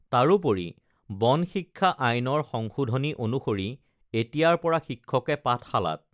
তাৰোপৰি বন শিক্ষা আইনৰ সংশোধনী অনুসৰি এতিয়াৰ পৰা শিক্ষকে পাঠশালাত